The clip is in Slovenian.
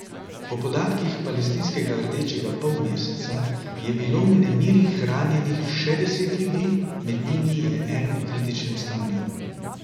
Po podatkih palestinskega Rdečega polmeseca je bilo v nemirih ranjenih še deset ljudi, med njimi je en v kritičnem stanju.